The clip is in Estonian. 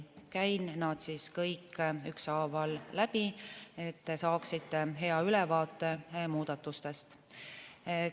Käin nad kõik ükshaaval läbi, et te saaksite muudatustest hea ülevaate.